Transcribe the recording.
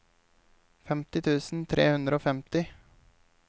femti tusen tre hundre og femti